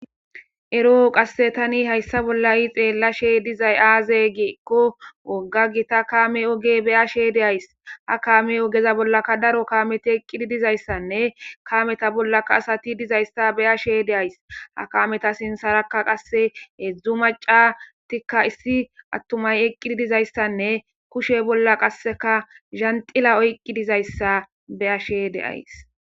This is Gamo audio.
Eroo qasse tani hayssa bolla yi xeellashe dizay aaze giiko wogga gita kame oge beyashe deays ha kaame ogeza bollaka daro kameti eqqidi dizayssanne kameta bollaka asati dizayssa beyashe deays ha kameta sinsaraka qasse hedzdzu maca tikka issi attumay eqqidi dizayssanne kushe bolla qasseka zantila oyqqi dizayssa beyashe deays.